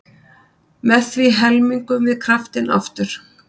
Með því helmingum við kraftinn aftur.